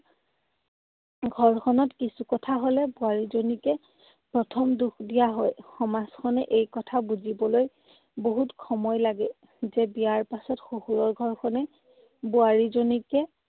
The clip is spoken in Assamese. ঘৰখনত কিছু কথা হলে বোৱাৰীজনীকে প্ৰথম দোষ দিয়া হয়। সমাজখনে এই কথা বুজিবলৈ বহুত সময় লাগে যে বিয়াৰ পাছত শহুৰৰ ঘৰখনেই বোৱাৰীজনীকে